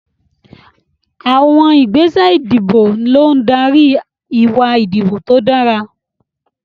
Àwọn ìgbésẹ̀ ìdìbò ló ń darí ìwà ìdìbò tó dára.